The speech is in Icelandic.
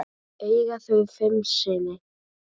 Eiga þau fimm syni.